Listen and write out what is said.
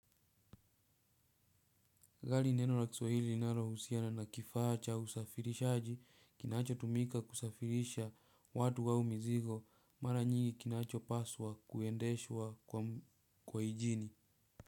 Gari ni neno la kiswahili linalo husiana na kifaa cha usafirishaji kinachotumika kusafirisha watu au mizigo. Maranyingi kinachopaswa kuendeshwa kwa injini.